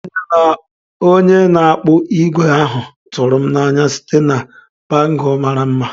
Onye na-akpụ ígwè ahụ tụrụ m n'anya site na bangle mara mma.